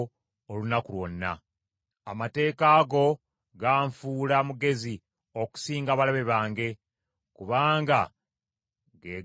Amateeka go ganfuula mugezi okusinga abalabe bange, kubanga ge gannuŋŋamya bulijjo.